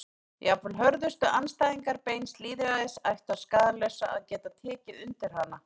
Jafnvel hörðustu andstæðingar beins lýðræðis ættu að skaðlausu að geta tekið undir hana.